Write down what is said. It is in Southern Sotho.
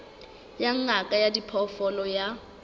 ya ngaka ya diphoofolo ya